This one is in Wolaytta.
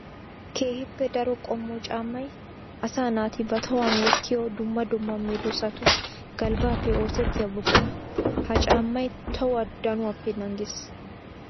Keehippe daro qommo caammay asaa naati ba tohuwan wottiyo dumma dumma medosattu galbbappe oosettiya buqura. Ha caammay tohuwaa danuwappe naagees.